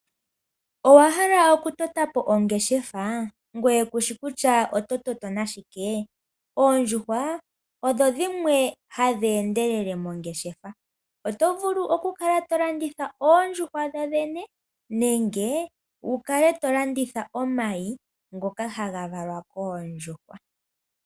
Owahala oku tota po ongeshefa? Ngoye kushi kutya oto toto nashike? Oondjuhwa odho dhimwe hadhi endelele mongeshefa. Oto vulu oku kala to landitha oondjuhwa dho dhene nenge wu kale to landitha omayi ngoka haga valwa koondjuhwa.